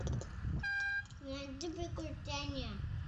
найди приключения